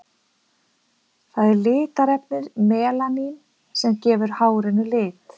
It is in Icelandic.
Það er litarefnið melanín sem gefur hárinu lit.